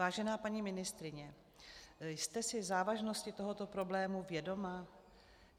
Vážená paní ministryně, jste si závažností tohoto problému vědoma?